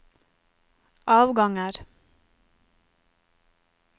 avganger